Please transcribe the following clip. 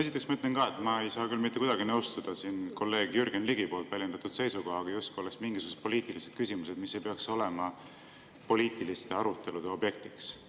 Esiteks ma ütlen ka, et ma ei saa küll mitte kuidagi nõustuda kolleeg Jürgen Ligi väljendatud seisukohaga, justkui oleks mingisugused poliitilised küsimused, mis ei peaks olema poliitiliste arutelude objektiks.